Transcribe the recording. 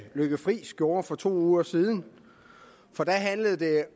lykke friis gjorde for to uger siden for der handlede det